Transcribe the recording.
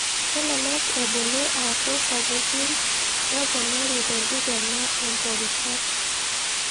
Kelelek ebulu aku sapukin neponari tenkikena epworishat.